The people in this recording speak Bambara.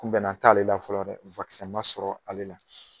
Kunbɛna t'ale la fɔlɔ dɛ sɔrɔ ale la.